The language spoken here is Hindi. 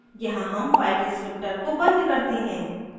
यहाँ हम file descriptor को बंद करते हैं